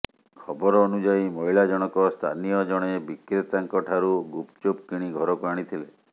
ଖବର ଅନୁଯାୟୀ ମହିଳା ଜଣକ ସ୍ଥାନୀୟ ଜଣେ ବିକ୍ରେତାଙ୍କଠାରୁ ଗୁପଚୁପ କିଣି ଘରକୁ ଆଣିଥିଲେ